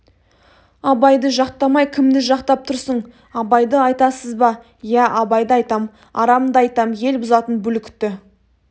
абайды жақтамай кімді жақтап тұрсың абайды айтасыз ба иә абайды айтам арамды айтам ел бұзатын бүлікті